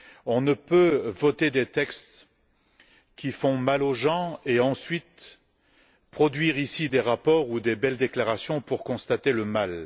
On ne peut voter des textes qui font mal aux gens et, ensuite, produire ici des rapports ou faire de belles déclarations pour constater le mal.